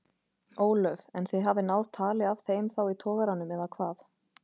Ólöf: En þið hafið náð tali af þeim þá í togaranum eða hvað?